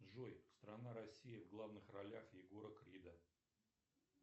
джой страна россия в главных ролях егора крида